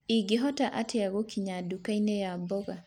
ingĩhota atĩa gũkinya dukaĩni ya mboga